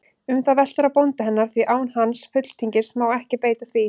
Um það veltur á bónda hennar, því án hans fulltingis má ekki beita því.